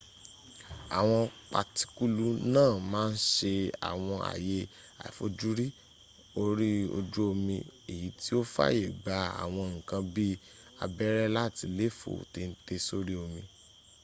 àwọn patikulu náà màa ǹ sẹ àwọn àyè àifojúrí orí ojú omi èyí tí o fàyè gbà àwọn nkan bi abẹ́rẹ́ láti léèfó téńté sórí omi